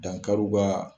Dankariw ka